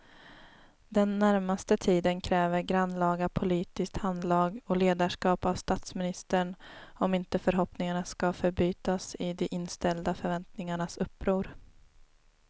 Den närmaste tiden kräver grannlaga politiskt handlag och ledarskap av statsministern om inte förhoppningarna ska förbytas i de inställda förväntningarnas uppror.